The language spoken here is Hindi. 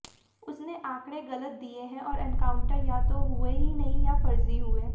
उसने आंकड़े ग़लत दिए हैं और एनकाउंटर या तो हुए ही नहीं या फ़र्ज़ी हुए